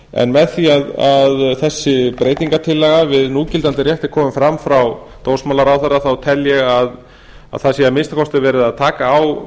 en með því að þessi breytingartillaga með núgildandi rétti komi fram frá dómsmálaráðherra á tel ég að það sé að minnsta kosti verið að taka á